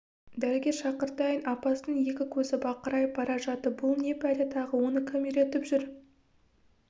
дәрігер шақыртайын апасының екі көзі бақырайып бара жатты бұл не пәле тағы оны кім үйретіп жүр